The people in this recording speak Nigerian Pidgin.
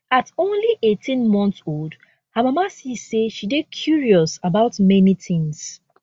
at only 18 months old her mama see say she dey curious about many tins